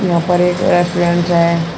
यहां पर एक रेस्टोरेंटस है।